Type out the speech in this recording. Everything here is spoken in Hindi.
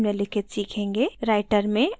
writer में aligning text